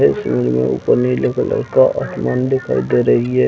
इस इमेज में ऊपर नीले कलर का आसमान दिखाई दे रही है।